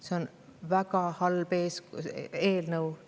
See on väga halb eelnõu.